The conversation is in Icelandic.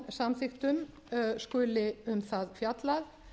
stofnsamþykktum skuli um það fjallað